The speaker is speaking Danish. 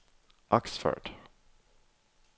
Oxford